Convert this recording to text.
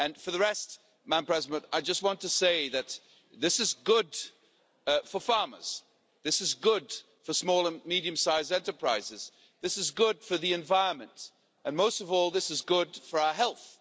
For the rest, I just want to say that this is good for farmers, this is good for small and medium sized enterprises, this is good for the environment, and, most of all, this is good for our health.